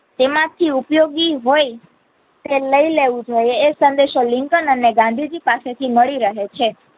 તેમાંથી ઉપયોગી હોય તે લઇ લેવું જોઈએ એ સઁદેશો લિંકન અને ગાંધીજી પાસે થી મળી રહે છે.